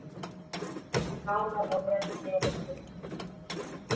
Nánar á vef Veðurstofu Íslands